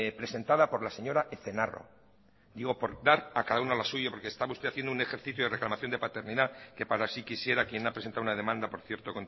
presentada por la señora ezenarro digo por dar a cada una lo suyo porque estaba usted haciendo un ejercicio de reclamación de paternidad que para sí quisiera quien ha presentado una demanda por cierto